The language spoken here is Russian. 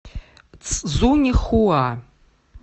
цзуньхуа